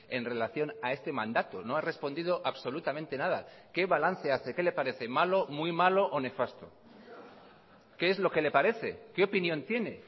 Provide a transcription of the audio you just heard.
en relación a este mandato no ha respondido absolutamente nada qué balance hace qué le parece malo muy malo o nefasto qué es lo que le parece qué opinión tiene